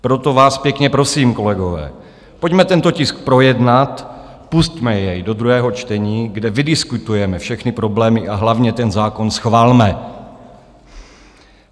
Proto vás pěkně prosím, kolegové, pojďme tento tisk projednat, pusťme jej do druhého čtení, kde vydiskutujeme všechny problémy, a hlavně ten zákon schvalme.